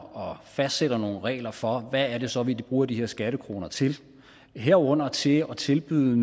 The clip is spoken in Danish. og fastsætter nogle regler for hvad det så er vi bruger de her skattekroner til herunder til at tilbyde